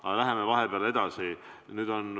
Aga läheme edasi.